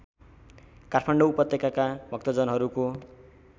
काठमाडौँ उपत्यकाका भक्तजनहरूको